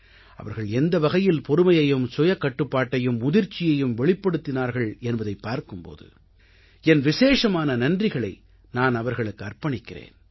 அவர்கள் எந்த வகையில் பொறுமையையும் சுயக்கட்டுப்பாட்டையும் முதிர்ச்சியையும் வெளிப்படுத்தினார்கள் என்பதைப் பார்க்கும் போது என் விசேஷமான நன்றிகளை நான் அவர்களுக்கு அர்ப்பணிக்கிறேன்